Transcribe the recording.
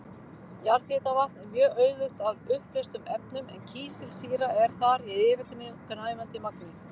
Jarðhitavatn er mjög auðugt af uppleystum efnum en kísilsýra er þar í yfirgnæfandi magni.